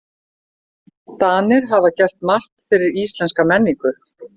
Danir hafa gert margt fyrir íslenska menningu.